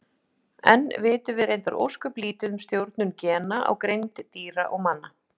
Enn vitum við reyndar ósköp lítið um stjórnun gena á greind dýra og manna.